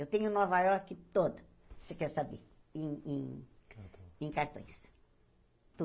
Eu tenho Nova Iorque toda, você quer saber, em em em cartões.